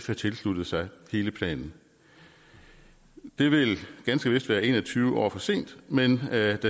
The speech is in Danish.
have tilsluttet sig hele planen det vil ganske vist være en og tyve år for sent men da